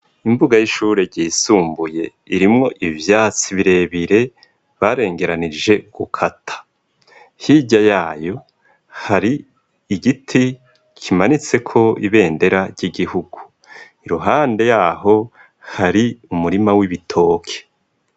Imbuga y'ishure gisumbuye irimwo ivyatsi birebire barengeranije gukata hirya yayo hari igiti kimanitseko ibendera ry'igihugu iruhande yaho hari umurima w'ibitoke.